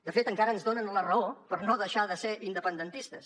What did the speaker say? de fet encara ens donen la raó per no deixar de ser independentistes